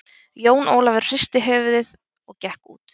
Jón Ólafur hristi höfuði og gekk út.